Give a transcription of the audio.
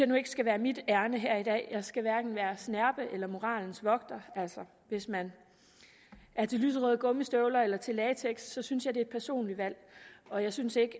nu ikke skal være mit ærinde her i dag jeg skal hverken være snerpet eller være moralens vogter hvis man er til lyserøde gummistøvler eller til latex synes jeg det er et personligt valg og jeg synes ikke